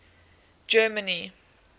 germany